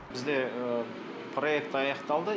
бізде проект аяқталды